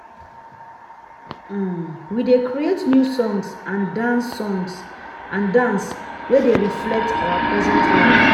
um we dey create new song and dance song and dance wey dey reflect our present life.